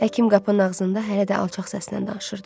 Həkim qapının ağzında hələ də alçaq səslə danışırdı.